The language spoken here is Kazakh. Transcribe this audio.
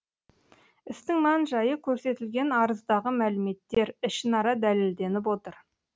істің мән жайы көрсетілген арыздағы мәліметтер ішінара дәлелденіп отыр